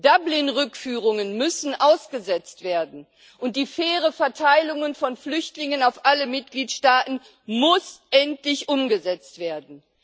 Dublin Rückführungen müssen ausgesetzt werden, und die faire Verteilung von Flüchtlingen auf alle Mitgliedstaaten muss endlich umgesetzt werden.